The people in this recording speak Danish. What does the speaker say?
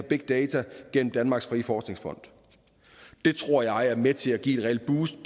big data gennem danmarks frie forskningsfond det tror jeg er med til at give et reelt boost